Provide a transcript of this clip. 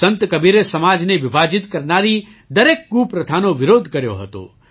સંત કબીરે સમાજને વિભાજીત કરનારી દરેક કુપ્રથાનો વિરોધ કર્યો હતો